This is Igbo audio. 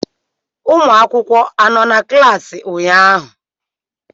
ụmụ akwụkwọ anọ na klaasị ụnyaahụ?